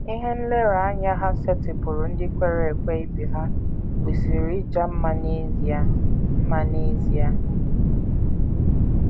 Ihe nlereanya ha setịpụụrụ ndị kwere ekwe ibe ha kwesịrị ịja mma n’ezie. mma n’ezie.